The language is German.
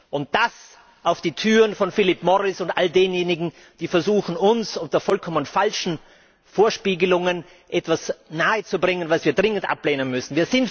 Und das auf die Türen von Philip Morris und all denjenigen, die versuchen, uns unter vollkommen falschen Vorspiegelungen etwas nahezubringen, was wir dringend ablehnen müssen.